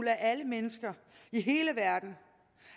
at alle mennesker i hele verden